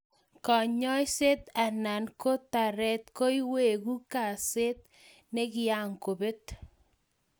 Kanyaiset anan ko taretet koiwegu kaset nikyagobet